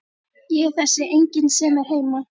Ég er þessi enginn sem er heima.